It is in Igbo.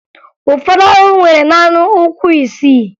Ụfọdụ ahụhụ nwere naanị ụkwụ isii